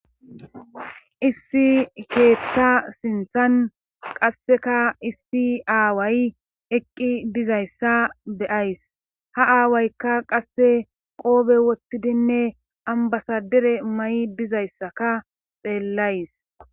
issi ketta sinttan qasseka issi aaway eqqi dizayssa be7ays;ha aawaykka qasse qoobe wottidinne ambbasadere mayi dizayssakka xeellays.